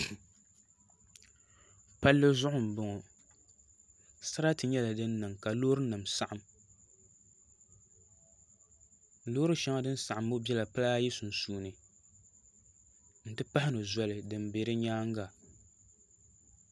Palli zuɣu n bɔŋɔ sarati nyɛla din niŋ ka loori nim saɣam loori shɛŋa din saɣam ŋɔ biɛla pala ayi sunsuuni n ti pahi zoli din bɛ di nyaanga